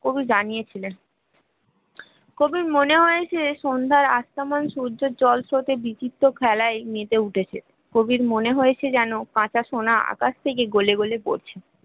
কবি জানিয়েছিলেন কবির মনে হয়েছে সন্ধ্যার আক্রমণ সূর্য জলপথে বিচিত্র খেলায় মেতে উঠেছে কবির মনে হয়েছে যেন কাঁচা সোনা আকাশ থেকে গলে গলে পড়ছে